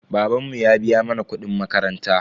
Babanmu ya biya mana kuɗin makaranta.